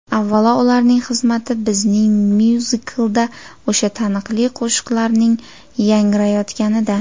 Avvalo, ularning xizmati bizning myuziklda o‘sha taniqli qo‘shiqlarning yangrayotganida.